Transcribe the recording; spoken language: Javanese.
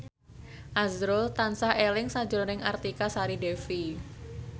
azrul tansah eling sakjroning Artika Sari Devi